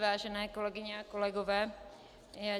Vážené kolegyně a kolegové.